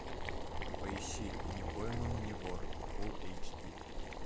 поищи не пойман не вор фул эйч ди